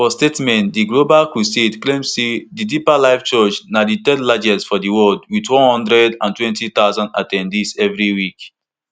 for statement di global crusade claim say di deeper life church na di third largest for di world wit one hundred and twenty thousand at ten dees evri week